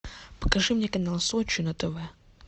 покажи мне канал сочи на тв